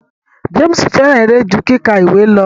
James fẹràn eré ju kíkà ìwé lọ.